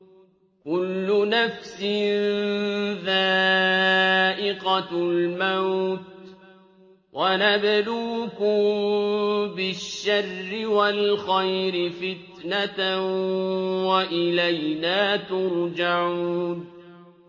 كُلُّ نَفْسٍ ذَائِقَةُ الْمَوْتِ ۗ وَنَبْلُوكُم بِالشَّرِّ وَالْخَيْرِ فِتْنَةً ۖ وَإِلَيْنَا تُرْجَعُونَ